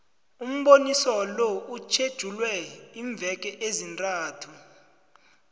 umboniso lo uthetjulwe iimveke ezintathu